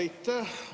Aitäh!